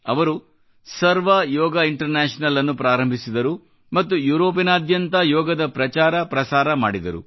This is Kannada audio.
ಅವರು ಸರ್ವ ಯೋಗ ಇಂಟರ್ ನ್ಯಾಷನಲ್ ಅನ್ನು ಪ್ರಾರಂಭಿಸಿದರು ಮತ್ತು ಯೂರೋಪಿನಾದ್ಯಂತ ಯೋಗದ ಪ್ರಚಾರಪ್ರಸಾರ ಮಾಡಿದರು